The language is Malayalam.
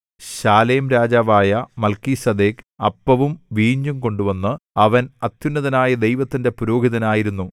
ശാലേം രാജാവായ മൽക്കീസേദെക്ക് അപ്പവും വീഞ്ഞുംകൊണ്ടുവന്നു അവൻ അത്യുന്നതനായ ദൈവത്തിന്റെ പുരോഹിതനായിരുന്നു